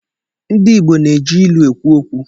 di Igbo na-eji ilu ekwu okwu